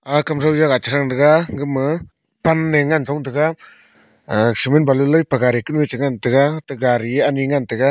aga kamthow jagah chi thang tega gama pan ngan chong tega aga cement balu lat pe gari kunu a che ngan tega ate gari a ani ngan tega.